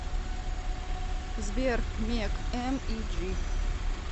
сбер мег эм и джи